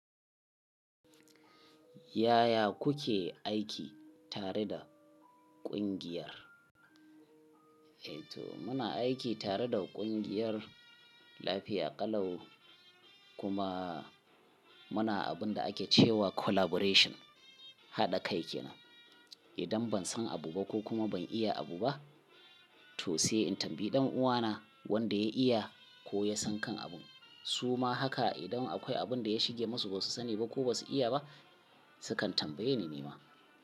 Yaya kuke aiki tare da kungiyar? Eh to muna aiki tare da kungiyar lafiya ƙalau kuma muna abun da ake cewa collaboration haɗa kai kenan. Idan ban san abu ba ko kuma ban iya abu ba to sai in tambayi ɗan uwana wanda ya iya ko ya san kan abun. Su ma haka idan akwai abun da ya shige masu ba su sani ba ko ba su iya ba su kan tambaye ni ma.